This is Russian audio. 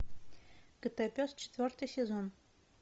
котопес четвертый сезон